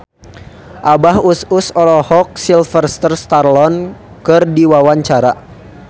Abah Us Us olohok ningali Sylvester Stallone keur diwawancara